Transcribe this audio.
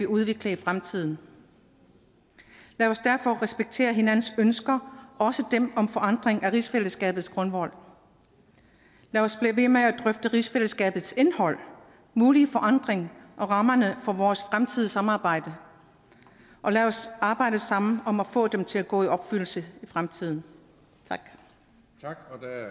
udvikling i fremtiden lad os derfor respektere hinandens ønsker også dem om forandring af rigsfællesskabets grundvold lad os blive ved med at drøfte rigsfællesskabets indhold mulige forandring og rammerne for vores fremtidige samarbejde og lad os arbejde sammen om at få det til at gå i opfyldelse i fremtiden tak